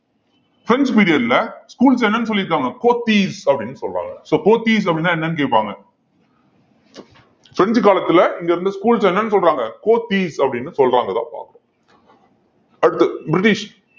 French period ல schools என்னன்னு சொல்லிருக்காங்க போத்தீஸ் அப்படின்னு சொல்றாங்க so போத்தீஸ் அப்படின்னா என்னன்னு கேப்பாங்க பிரெஞ்சு காலத்துல இங்க இருந்த schools என்னன்னு சொல்றாங்க போத்தீஸ் அப்படின்னு சொல்றாங்க~ பார்ப்போம் அடுத்தது பிரிட்டிஷ்